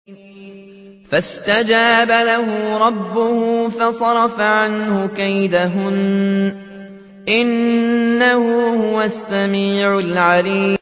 فَاسْتَجَابَ لَهُ رَبُّهُ فَصَرَفَ عَنْهُ كَيْدَهُنَّ ۚ إِنَّهُ هُوَ السَّمِيعُ الْعَلِيمُ